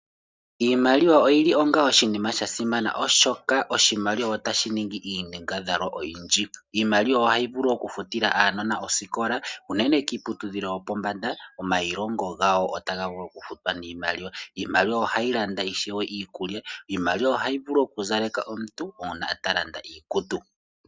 Iimaliwa oyili onga oshinima sha simana oshoka oshimaliwa ota shiningi iinyangadhalwa oyindji. Iimaliwa ohayi vulu oku futila aanona osikola unene kiiputudhilo yopombanda. Omayilongo gawo otaga vulu oku futwa niimaliwa. Iimaliwa ohayi landa iikulya. Iimaliwa ohayi vulu oku zaleka omuntu uuna ta landa iikutu.